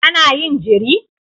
Kana yin jiri?